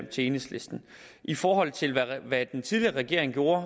til enhedslisten i forhold til hvad den tidligere regering gjorde